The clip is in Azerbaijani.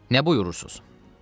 "Nə buyurursunuz?"